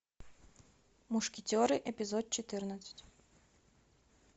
мушкетеры эпизод четырнадцать